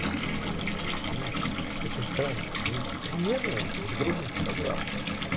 назвать наверное выяснения очень странно мы примерно с друг другом согласны